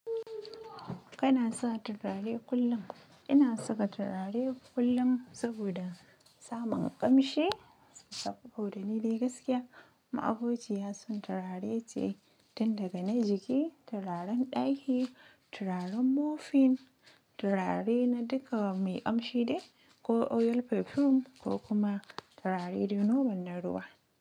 Kana sa turare kullum? Ina saka turare kullum saboda samun ƙamshi saboda ni dai gaskiya, ma'abociya turare ce, tun daga na jiki, turaren ɗaki, turaren mopping, turare na duka mai ƙamshi ne ko oil perfume ko kuma turare dai normal na ruwa.